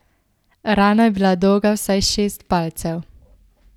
Rana je bila dolga vsaj šest palcev.